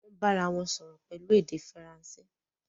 wón bá arawọn sòrò pẹlú èdè Faransé.